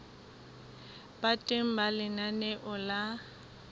ba teng ha lenaneo la